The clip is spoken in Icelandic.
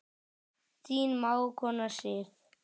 Þín mágkona Sif.